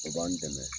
O b'an dɛmɛ